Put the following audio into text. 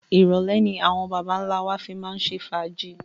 Irọ̀lẹ́ ni àwọn baba ńlá wa fi máa ń ṣe fàájì